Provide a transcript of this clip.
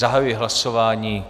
Zahajuji hlasování.